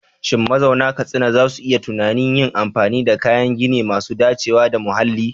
Shin mazauna Katsina za su yi tunanin yin amfani da kayan gini masu dacewa da muhalli?